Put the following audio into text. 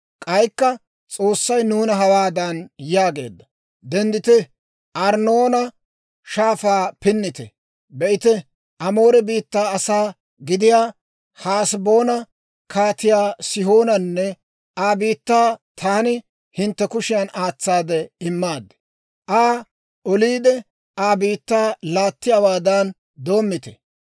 «K'aykka S'oossay nuuna hawaadan yaageedda; ‹Denddite; Arnnoona Shaafaa pinnite. Be'ite, Amoore biittaa asaa gidiyaa Haseboona Kaatiyaa Sihoonanne Aa biittaa taani hintte kushiyan aatsaade immaad; Aa oliide Aa biittaa laattiyaawaadan doommite.